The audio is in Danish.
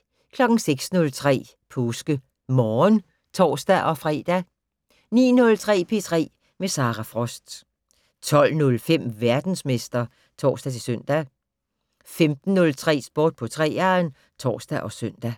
06:03: PåskeMorgen (tor-fre) 09:03: P3 med Sara Frost 12:05: Verdensmester (tor-søn) 15:03: Sport på 3'eren (tor og søn)